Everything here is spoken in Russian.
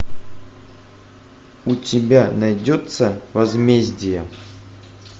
у тебя найдется возмездие